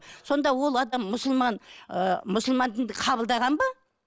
сонда ол адам мұсылман ы мұсылман дінді қабылдаған ба